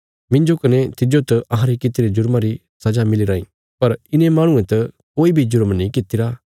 मिन्जो कने तिज्जो त अहांरे कित्तिरे जुरमां री सजा मिली राईं पर इने माहणुये त कोई बी जुरम नीं कित्तिरा